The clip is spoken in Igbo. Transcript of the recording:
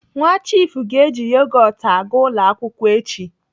Nwa chiifu ga-eji yogot aga ụlọ akwụkwọ echi.